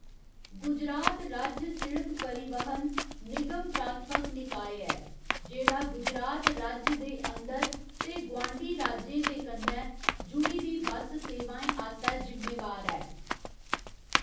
गुजरात राज्य सिड़क परिवहन निगम प्राथमक निकाय ऐ जेह्‌‌ड़ा गुजरात राज्य दे अंदर ते गुआंढी राज्यें दे कन्नै जुडी दी बस्स सेवाएं आस्तै जिम्मेवार ऐ।